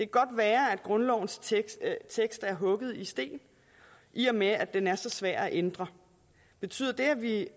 godt være at grundlovens tekst er hugget i sten i og med at den er så svær at ændre betyder det at vi